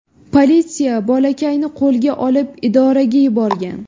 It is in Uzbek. Politsiya bolakayni qo‘lga olib idoraga yuborgan.